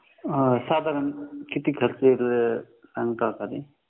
साधारण किती खर्च येतो